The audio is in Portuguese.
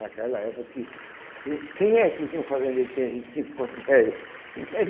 Naquela época, que que o quem é que tinha um fazendeiro que tinha vinte e cinco contos de réis?